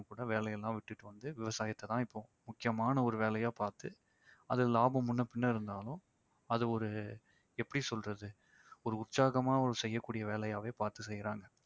கூட வேலையெல்லாம் விட்டுட்டு வந்து விவசாயத்தை தான் இப்போ முக்கியமான ஒரு வேலையா பாத்து அது லாபம் முன்னபின்ன இருந்தாலும் அது ஒரு எப்படி சொல்றது ஒரு உற்சாகமா செய்யக்கூடிய வேலையாவே பார்த்து செய்யறாங்க